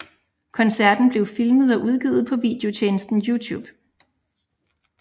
Koncerten blev filmet og udgivet på videotjenesten Youtube